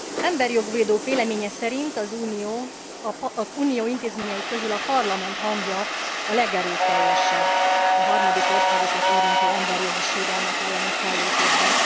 Emberijog védők véleménye szerint az Unió intézményei közül a Parlamentet hangja a legerőteljesebb a harmadik országokat érintő emberi jogi sérelmek elleni fellépésben.